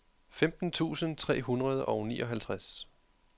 femten tusind tre hundrede og nioghalvtreds